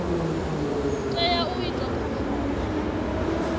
tea u itwa kha fomo